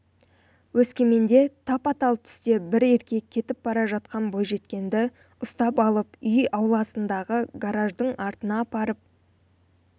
өскеменде тапа-тал түсте бір еркек кетіп бара жатқан бойжеткенді ұстап алып үй ауласындағы гаражардың артына апарып